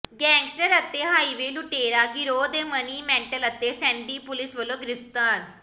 gangster ਅਤੇ highway ਲੁਟੇਰਾ ਗਿਰੋਹ ਦੇ ਮਨੀ ਮੈਂਟਲ ਅਤੇ ਸੈਂਡੀ ਪੁਲਿਸ ਵੱਲੋਂ ਗ੍ਰਿਫ਼ਤਾਰ